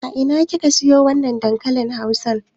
A ina ka siyo wannan dankalin Hausan?